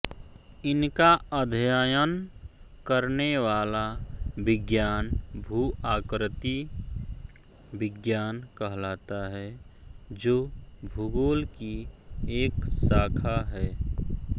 इनका अध्ययन करने वाला विज्ञान भूआकृति विज्ञान कहलाता है जो भूगोल की एक शाखा है